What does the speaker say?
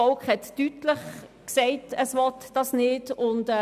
Das Volk hat deutlich befunden, dass es dies nicht wünscht.